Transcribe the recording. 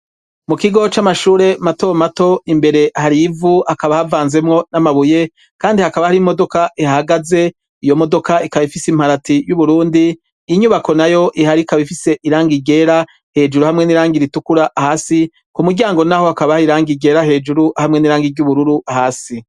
Mu kigo c'amashure matomato imbere harivu hakaba havanzemwo n'amabuye, kandi hakaba hari imodoka ihhagaze iyo modoka ikaba ifise imparati y'uburundi inyubako na yo iharikaba ifise iranga igera hejuru hamwe n'iranga iritukura hasi ku muryango, naho hakabaha iranga igera hejuru hamwe n'iranga iry'ubururu hasi.